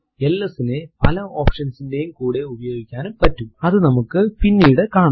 LS നെ പല options ന്റെയും കൂടെ ഉപയോഗിക്കാനും പറ്റും അതു നമുക്ക് പിന്നീട് കാണാം